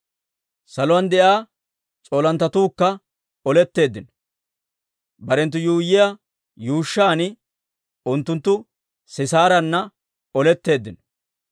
Saluwaan de'iyaa s'oolinttetuukka oletteeddino. Barenttu yuuyyiyaa yuushshan unttunttu Sisaarana oletteeddino.